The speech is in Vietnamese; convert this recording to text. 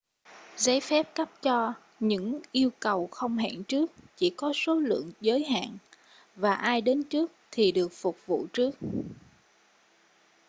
giấy phép cấp cho những yêu cầu không hẹn trước chỉ có số lượng giới hạn và ai đến trước thì được phục vụ trước